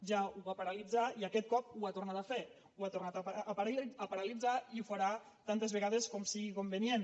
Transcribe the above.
ja ho va paralitzar i aquest cop ho ha tornat a fer ho ha tornat a paralitzar i ho farà tantes vegades com sigui convenient